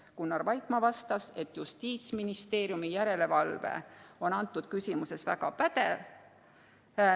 Gunnar Vaikmaa vastas, et Justiitsministeeriumi järelevalve on antud küsimuses väga pädev.